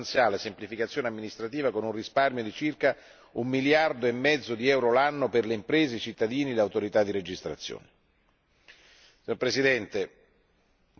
Abbiamo anche stimato che la proposta porterà ad una sostanziale semplificazione amministrativa, con un risparmio di circa un miliardo e mezzo di euro l'anno per le imprese, i cittadini e le autorità di registrazione.